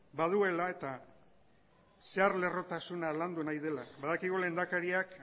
baduela eta zehar lerrotasuna landu nahi dela badakigu lehendakariak